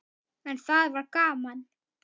En það var gaman.